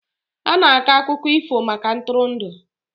a na-akọ akụkọ ifo maka ntụrụndụ